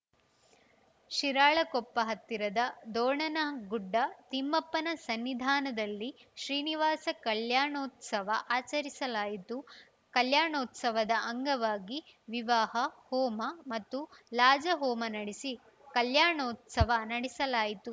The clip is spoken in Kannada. ಶಿರಾಳಕೊಪ್ಪ ಹತ್ತಿರದ ದೋಣನಗುಡ್ಡ ತಿಮ್ಮಪ್ಪನ ಸನ್ನಿಧಾನದಲ್ಲಿ ಶ್ರೀನಿವಾಸ ಕಲ್ಯಾಣೋತ್ಸವ ಆಚರಿಸಲಾಯಿತು ಕಲ್ಯಾಣೋತ್ಸವದ ಅಂಗವಾಗಿ ವಿವಾಹ ಹೋಮ ಮತ್ತು ಲಾಜಹೋಮ ನಡೆಸಿ ಕಲ್ಯಾಣೋತ್ಸವ ನಡೆಸಲಾಯಿತು